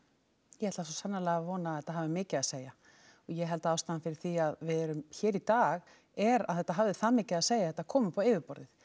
ég ætla svo sannarlega að vona að þetta hafi mikið að segja og ég held að ástæðan fyrir því að við erum hér í dag er að þetta hafði það mikið að segja að þetta kom upp á yfirborðið